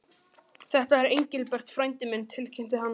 Þetta er Engilbert frændi minn tilkynnti hann.